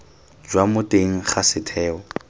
jwa mo teng ga setheo